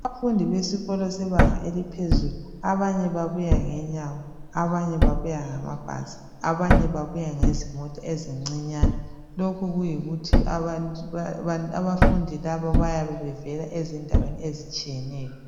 Abafundi besikolo sebanga eliphezulu abanye babuya ngenyawo, abanye babuya ngamabhasi, abanye babuya ngezimota ezincinyane. Lokhu kuyikuthi abafundi labo bayabe bevela ezindaweni ezitshiyeneyo.